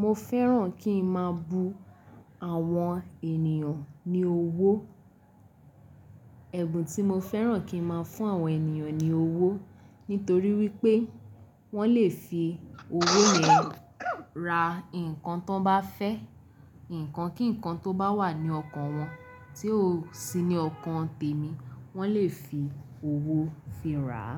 Mo fẹ́ràn kí n máa bu àwọn ènìyàn ní owó. Ẹ̀bùn tí mo fẹ́ràn kí n máa fún àwọn ènìyàn ní owó nítorí wípé wọ́n lè fi owó yen ra nǹkan tan bá fẹ́, ǹkan kíǹkan tó bá wà ní ọkàn wọn tí ó sì ní ọkàn tèmi, wọ́n lè fi owó fi rà á.